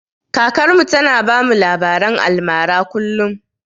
Kakar mu ta na bamu labaren almara kullum